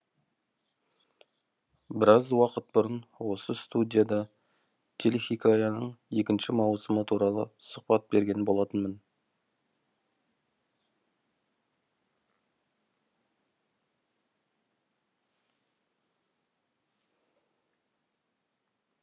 біраз уақыт бұрын осы студияда телехикаяның екінші маусымы туралы сұхбат берген болатынмын